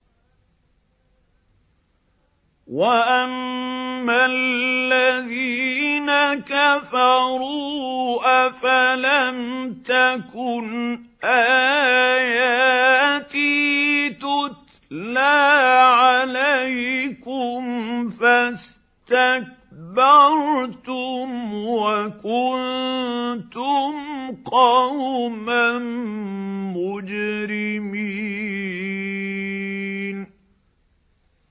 وَأَمَّا الَّذِينَ كَفَرُوا أَفَلَمْ تَكُنْ آيَاتِي تُتْلَىٰ عَلَيْكُمْ فَاسْتَكْبَرْتُمْ وَكُنتُمْ قَوْمًا مُّجْرِمِينَ